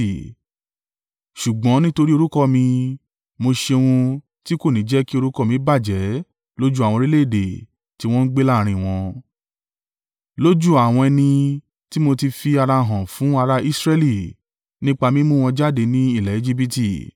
Ṣùgbọ́n nítorí orúkọ mi, mo ṣe ohun tí kò ní jẹ́ kí orúkọ mi bàjẹ́ lójú àwọn orílẹ̀-èdè tí wọn ń gbé láàrín wọn, lójú àwọn ẹni tí mo ti fi ara hàn fún ara Israẹli nípa mímú wọn jáde ní ilẹ̀ Ejibiti.